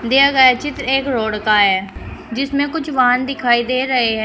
दिया गया चित्र एक रोड का है जिसमें कुछ वाहन दिखाई दे रहे हैं।